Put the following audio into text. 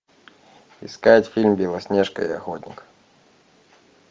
искать фильм белоснежка и охотник